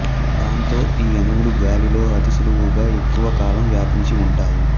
దాంతో ఈ అణువులు గాలిలో అతి సులువుగా ఎక్కువ కాలం వ్యాపించి ఉంటాయి